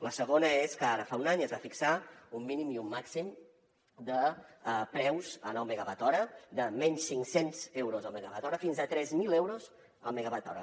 la segona és que ara fa un any es va fixar un mínim i un màxim de preus en el megawatt hora de menys cinc cents euros el megawatt hora fins a tres mil euros el megawatt hora